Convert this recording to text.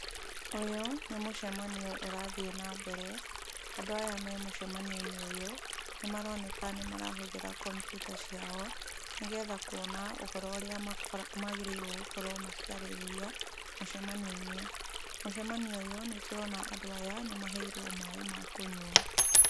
Ũyũ nĩ mũcemanio ũrathiĩ nambere. Andũ aya memũcemanio-inĩ ũyũ, nĩmaroneka nĩmarahũthĩra kompiuta ciao, nĩgetha kuona ũhoro ũrĩa magĩrĩirwo gũkorwo makĩarĩrĩria mũcemanio-inĩ. Mũcemanio ũyũ nĩtũrona andũ aya nĩmaheirwo maaĩ makũnyua.